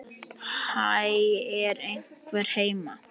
Hæ, er einhver heima?